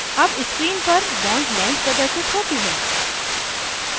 अब screen पर bond length प्रदर्शित होती है